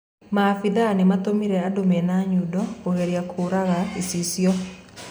Maabitha nimatumire andũ mena nyundo kũgeria kũũraga icicio.